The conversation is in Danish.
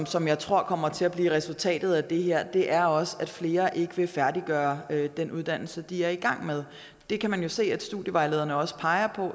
som jeg tror kommer til at blive resultatet af det her er også at flere ikke vil færdiggøre den uddannelse de er i gang med det kan man jo se at studievejlederne også peger